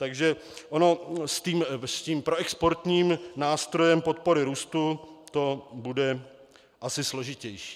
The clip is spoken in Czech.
Takže ono s tím proexportním nástrojem podpory růstu to bude asi složitější.